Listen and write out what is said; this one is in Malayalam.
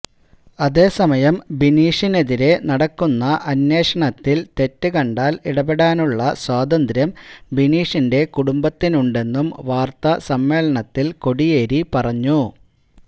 അതേസമയം ബിനീഷിനെതിരേ നടക്കുന്ന അന്വേഷണത്തില് തെറ്റ് കണ്ടാല് ഇടപെടാനുള്ള സ്വാതന്ത്ര്യം ബിനീഷിന്റെ കുടുംബത്തിനുണ്ടെന്നും വാര്ത്ത സമ്മേളനത്തില് കോടിയേരി പറഞ്ഞു